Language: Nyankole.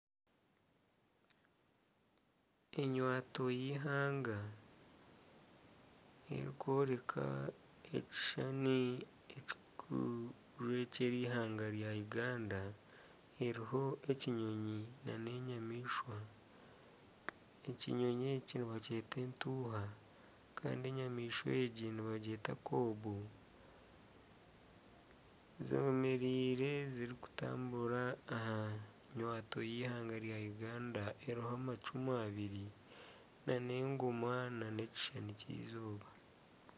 Enywanto y'eihanga erikworeka ekishushani kikujwekyera eihanga rya Uganda eriho ekinyonyi na n'enyamaishwa, ekinyonyi eki nibakyeta entuuha kandi enyamaishwa egi nibagyeta kobu zemereire zirikutambura aha nywanto y'eihanga rya Uganda eriho amacumu abiri n'egooma na n'ekishushani ky'eizooba.